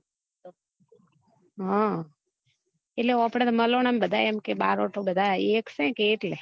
હ એટલે આપડે તો મલોના ના બધા એમ કે બારોટો બધા એક સે કે એટલે